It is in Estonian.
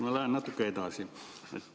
Ma lähen natuke edasi.